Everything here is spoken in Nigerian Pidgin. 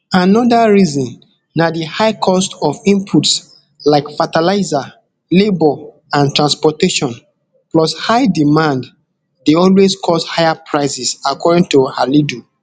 anoda reason na di high cost of inputs like fertilizer labor and transportation plus high demand dey always cause higher prices according to halidu